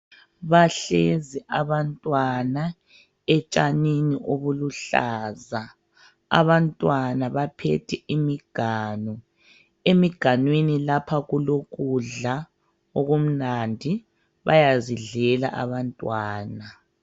Bahlezi abantwana etshanini obuluhlaza. Abantwana baphethe imiganu, emiganwini lapha kulokudla okumnandi bayazidlela abantwana.